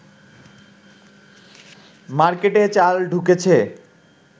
মার্কেটে চাল ঢুকেছে